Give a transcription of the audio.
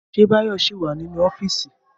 Ṣé Báyọ̀ ṣì wà nínú ọ́fíìsì?